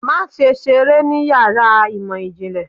Maṣe ṣere ní iyàrá imọ jinlẹ!